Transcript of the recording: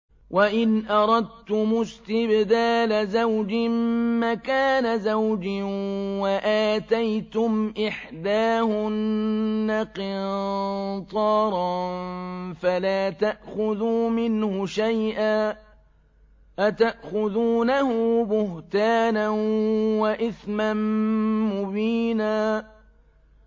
وَإِنْ أَرَدتُّمُ اسْتِبْدَالَ زَوْجٍ مَّكَانَ زَوْجٍ وَآتَيْتُمْ إِحْدَاهُنَّ قِنطَارًا فَلَا تَأْخُذُوا مِنْهُ شَيْئًا ۚ أَتَأْخُذُونَهُ بُهْتَانًا وَإِثْمًا مُّبِينًا